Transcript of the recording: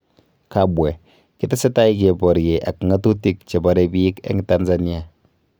Kabwe: Kitesetai kebarye ak ng'atutik che bare biik eng Tanzania